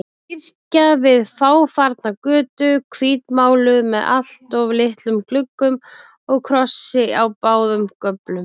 Kirkja við fáfarna götu, hvítmáluð með alltof litlum gluggum og krossi á báðum göflum.